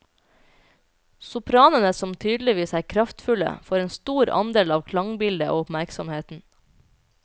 Sopranene som tydeligvis er kraftfulle, får en for stor andel av klangbildet og oppmerksomheten.